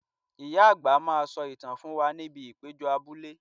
Ìyá àgbà máa sọ ìtàn fún wa ní ibi ìpéjọ abúlé